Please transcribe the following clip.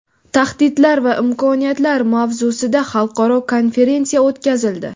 Tahdidlar va imkoniyatlar mavzusida xalqaro konferensiya o‘tkazildi.